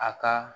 A ka